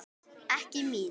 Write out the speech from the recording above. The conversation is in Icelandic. Ekki mín.